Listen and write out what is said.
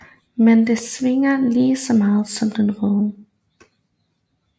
Men den svier lige så meget som den røde